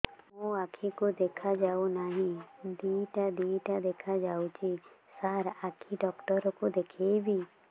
ମୋ ଆଖିକୁ ଦେଖା ଯାଉ ନାହିଁ ଦିଇଟା ଦିଇଟା ଦେଖା ଯାଉଛି ସାର୍ ଆଖି ଡକ୍ଟର କୁ ଦେଖାଇବି